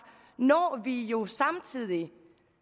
når vi jo samtidig